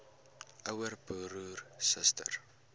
ouer broer suster